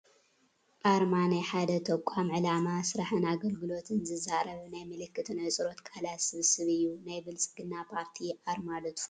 ኣርማ፡- ናይ ሓደ ተቋም ዕላማ፣ ስራሕን ኣገልግሎትን ዝዛረብ ናይ ምልክትን ኣህፅሮተ ቃላት ስብስብ እዩ፡፡ ናይ ብልፅግና ፓርቲ ኣርማ ዶ ትፈልጥዎ?